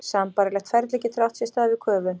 Sambærilegt ferli getur átt sér stað við köfun.